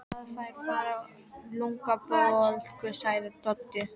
Maður fær bara lungnabólgu, sagði Tóti.